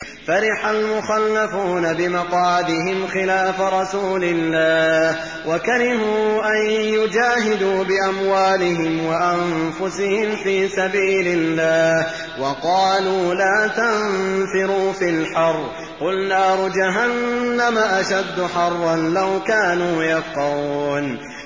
فَرِحَ الْمُخَلَّفُونَ بِمَقْعَدِهِمْ خِلَافَ رَسُولِ اللَّهِ وَكَرِهُوا أَن يُجَاهِدُوا بِأَمْوَالِهِمْ وَأَنفُسِهِمْ فِي سَبِيلِ اللَّهِ وَقَالُوا لَا تَنفِرُوا فِي الْحَرِّ ۗ قُلْ نَارُ جَهَنَّمَ أَشَدُّ حَرًّا ۚ لَّوْ كَانُوا يَفْقَهُونَ